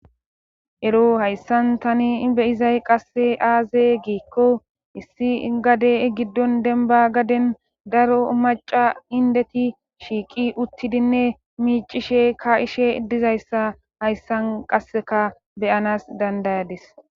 ero hayssan tani beyizay qasse aaze giikko issi gade giddon denba gaden daro maca indeti shiiqi uttidinne miicishe ka'ishe idizayssa hayssan qasseka beyanas dandayadis